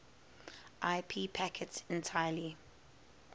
ip packets entirely